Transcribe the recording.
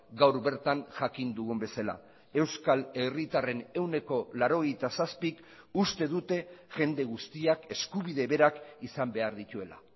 gaur bertan jakin dugun bezala euskal herritarren ehuneko laurogeita zazpik uste dute jende guztiak eskubide berak izan behar dituela